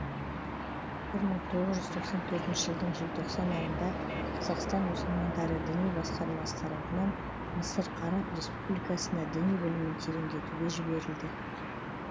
бір мың тоғыз жүз тоқсан төртінші жылдың желтоқсан айында қазақстан мұсылмандары діни басқармасы тарапынан мысыр араб республикасына діни білімін тереңдетуге жіберілді